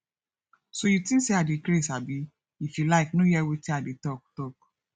so you think say i dey craze abi if you like no hear wetin i dey talk talk